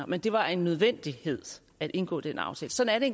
men det var en nødvendighed at indgå den aftale sådan er